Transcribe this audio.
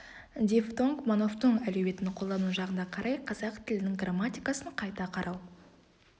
дифтонг монофтонг әлеуетін қолдану жағына қарай қазақ тілінің грамматикасын қайта қарау